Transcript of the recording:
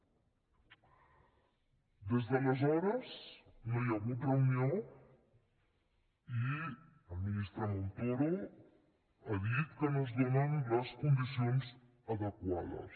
des d’aleshores no hi ha hagut reunió i el ministre montoro ha dit que no es donen les condicions adequades